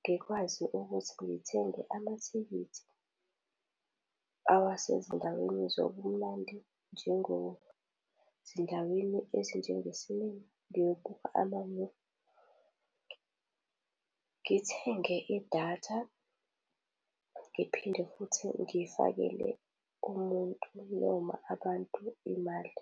ngikwazi ukuthi ngithenge amathikithi awasezindaweni zobumnandi ezindaweni njengozindaweni ezinjenge-cinema ngiyobuka ama-movie. Ngithenge idatha ngiphinde futhi ngifakele umuntu noma abantu imali.